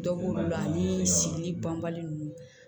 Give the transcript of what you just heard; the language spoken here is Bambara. Dɔ b'olu la ani sili banbali ninnu